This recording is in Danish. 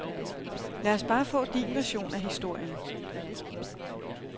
Lad os bare få din version af historien.